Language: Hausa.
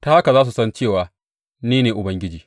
Ta haka za su san cewa ni ne Ubangiji.’